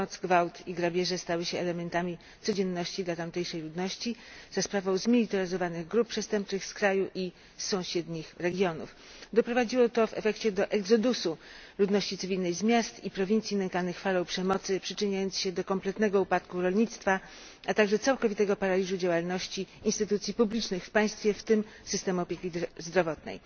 Przemoc, gwałt i grabieże stały się elementami codzienności dla tamtejszej ludności za sprawą zmilitaryzowanych grup przestępczych z kraju i sąsiednich regionów. Doprowadziło to do exodusu ludności cywilnej z miast i prowincji nękanych falą przemocy, przyczyniając się do kompletnego upadku rolnictwa, a także całkowitego paraliżu działalności instytucji publicznych w państwie, w tym systemu opieki zdrowotnej.